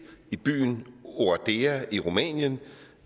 i byen oradea i rumænien